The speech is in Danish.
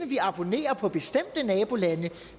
vi abonnerer på bestemte nabolande